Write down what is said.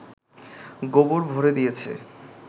গোবর ভরে দিয়েছে